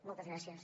moltes gràcies